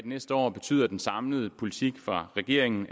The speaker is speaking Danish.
næste år betyder den samlede politik fra regeringen